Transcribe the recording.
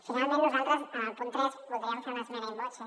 finalment nosaltres en el punt tres voldríem fer una esmena in voce